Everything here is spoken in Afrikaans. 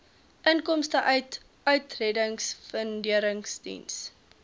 inkomste uit uittredingfunderingsdiens